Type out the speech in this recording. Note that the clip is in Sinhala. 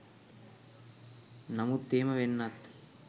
නමුත් එහෙම වෙන්නත්